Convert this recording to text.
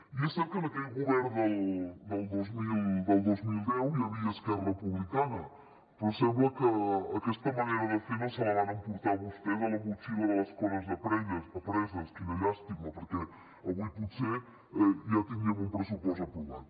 i és cert que en aquell govern del dos mil deu hi havia esquerra republicana però sembla que aquesta manera de fer no se la van emportar vostès a la motxilla de les coses apreses quina llàstima perquè avui potser ja tindríem un pressupost aprovat